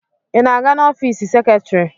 Ị na-aga n'ọfiisi seketrị?